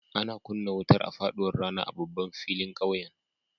Ana kunna wutar a faɗuwar rana a babban filin ƙauyen.